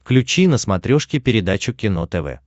включи на смотрешке передачу кино тв